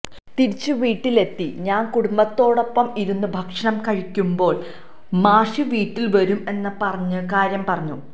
തിരിച്ച് വീട്ടില് എത്തി ഞാന് കുടുംബത്തോടൊപ്പം ഇരുന്ന് ഭക്ഷണം കഴിക്കുമ്പോള് മാഷ് വീട്ടില് വരും എന്ന് പറഞ്ഞ കാര്യം പറഞ്ഞു